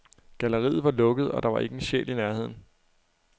Galleriet var lukket, og der var ikke en sjæl i nærheden.